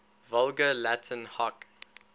vulgar latin hoc